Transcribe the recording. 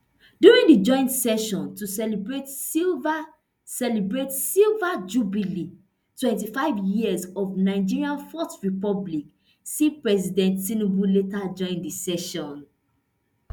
during di joint session to celebrate silver celebrate silver jubilee twenty-five years of nigeria fourth republic see president tinubu later join di session